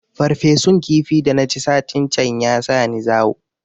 Farfesun kifi da na ci satin can ya sa ni zawo